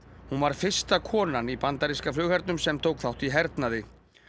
hún var fyrsta konan í bandaríska flughernum sem tók þátt í hernaði